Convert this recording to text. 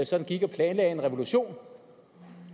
sådan gik og planlagde en revolution